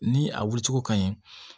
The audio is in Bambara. Ni a wulicogo ka ɲi